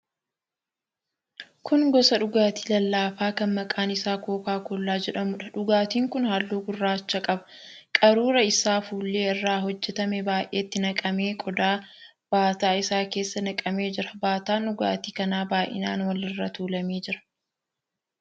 Kun gosa dhugaatii lallaafaa kan maqaan isaa kookaa kollaa jedhamuudha. Dhugaatiin kun halluu gurraacha qaba. Qaruuraa isaa fuullee irraa hojjetame baay'eetti naqamee qodaa baataa isaa keessa naqamee jira. Baataan dhugaatii kanaa baay'inaan walirra tuulamee jira.